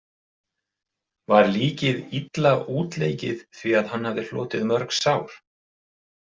Var líkið illa útleikið því að hann hafði hlotið mörg sár.